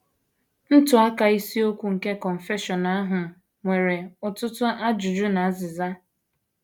Ntụaka isiokwu nke Confession ahụ nwere ọtụtụ ajụjụ na azịza.